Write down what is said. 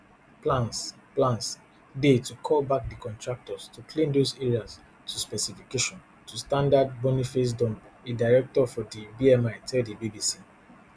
plans plans dey to call back di contractors to clean those areas to specification to standard boniface dumpe a director for di bmi tell di bbc